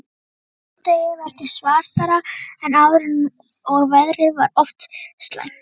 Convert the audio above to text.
Skammdegið virtist svartara en áður og veðrið var oft slæmt.